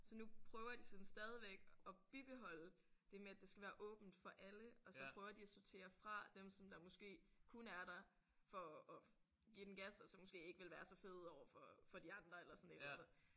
Så nu prøver de sådan stadigvæk at bibeholde det med at det skal være åbent for alle og så prøver de at sortere fra dem som der måske kun er der for at at give den gas og så måske ikke ville være så fede overfor for de andre eller sådan et eller andet